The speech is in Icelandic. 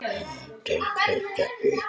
Hönd til kveðju upp!